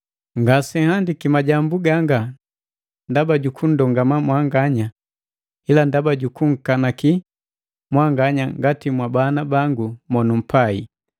Ngasenhandiki majambu ganga ndaba jukundongama mwanganya ila ndaba jukunkanaki mwanganya ngati mwabana bangu monumpai.